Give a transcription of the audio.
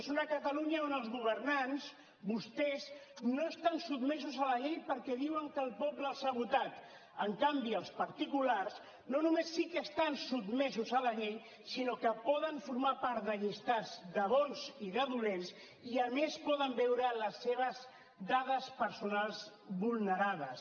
és una catalunya on els governants vostès no estan sotmesos a la llei perquè diuen que el poble els ha votat en canvi els particulars no només sí que estan sotmesos a la llei sinó que poden formar part de llistats de bons i de dolents i a més poden veure les seves dades personals vulnerades